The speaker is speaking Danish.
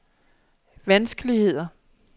vanskeligheder